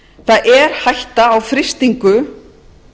það er hætta á frystingu